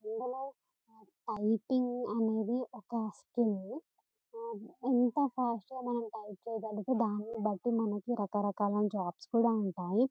ఇందిలో typing అనేది ఒక్క skill . అ ఎంత ఫాస్టుగా మనం టైపు చేస్తామని దాన్నిబట్టి మనకు రకరకాల జాబ్స్ కూడా ఉంటాయి.